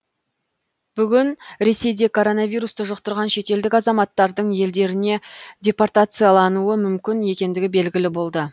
бүгін ресейде коронавирусты жұқтырған шетелдік азаматтардың елдеріне депортациялануы мүмкін екендігі белгілі болды